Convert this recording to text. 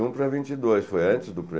vinte um para vinte e dois, foi antes do